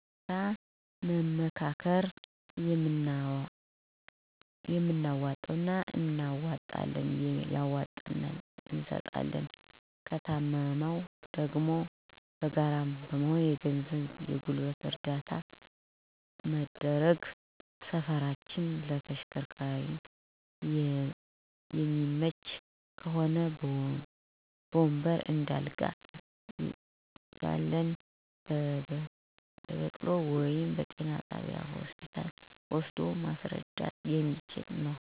በጋራ በመመካከር የምናዋጣውን እናዋጠለን ያዋጣነውን እንሰጣለን። ከታመመ ደግሞ በጋራ በመሆን የገንዘብ የገልበት እረዳታ በመደረግ ሰፈራችን ለተሸከርካሪ የመይመች ከሆ በወንበር፣ እንደ አልጋ፣ ያልየ በበቅሉ ወደ ጤና ጣቢያ እና ሆስፒታ ወሰዶ ማሰረዳት።